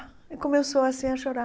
E começou assim a chorar.